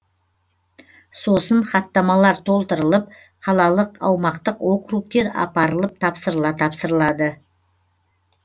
сосын хаттамалар толтырылып қалалық аумақтық округке апарылып тапсырыла тапсырылады